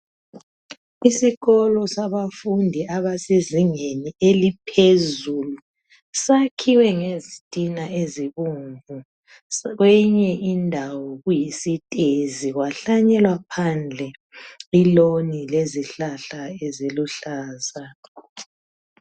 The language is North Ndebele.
Isikolo sabafundi abasezingeni eliphezulu, sakhiwe ngezitina ezibomvu. Kweyinye indawo kuyisitezi kwahlanyelwa phandle iloni lezihlahla eziluhlaza.